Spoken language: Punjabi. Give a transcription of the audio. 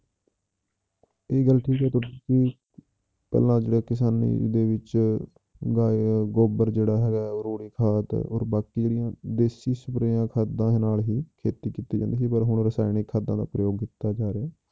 ਇਹ ਗੱਲ ਠੀਕ ਹੈ ਕਿ ਤੁਸੀਂ ਪਹਿਲਾਂ ਜਿਹੜੇ ਕਿਸਾਨੀ ਦੇ ਵਿੱਚ ਗਾਏ ਗੋਬਰ ਜਿਹੜਾ ਹੈਗਾ, ਉਹ ਰੂੜੀ ਖਾਦ ਬਾਕੀ ਜਿਹੜੀਆਂ ਦੇਸੀਆਂ ਸਪਰੇਆਂ ਖਾਦਾਂ ਨਾਲ ਵੀ ਖੇਤੀ ਕੀਤੀ ਜਾਂਦੀ ਸੀ ਪਰ ਹੁਣ ਰਸਾਇਣਿਕ ਖਾਦਾਂ ਦਾ ਪ੍ਰਯੋਗ ਕੀਤਾ ਜਾ ਰਿਹਾ ਹੈ।